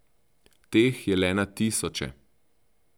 Teh je le na tisoče.